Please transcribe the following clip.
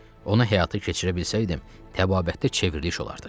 Onu həyata keçirə bilsəydim, təbabətdə çevriliş olardı.